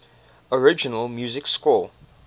original music score